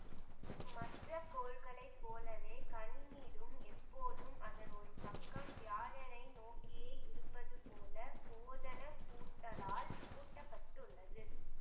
மற்ற கோள்களைப் போலவே கனிமீடும் எப்போதும் அதன் ஒரு பக்கம் வியாழனை நோக்கியே இருப்பது போல ஓதனப் பூட்டலால் பூட்டப்பட்டுள்ளது